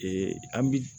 an bi